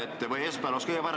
Ja esmaspäeval olnuks kõige parem.